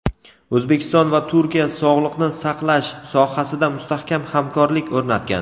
O‘zbekiston va Turkiya sog‘liqni saqlash sohasida mustahkam hamkorlik o‘rnatgan.